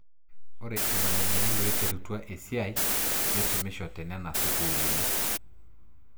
Ore irmalimuni loiterutua e siaai neisumisho te nena sukuulini.